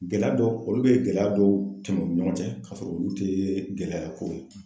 Gɛlɛya dɔw olu bɛ gɛlɛya dɔw tɛmɛ u ni ɲɔgɔn cɛ ka sɔrɔ olu tɛ gɛlɛya ye koyi.